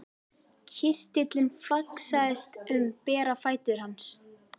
Kirtillinn flaksaðist um bera fætur hans.